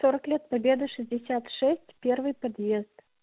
сорок лет победы шестьдесят шесть первый подъезд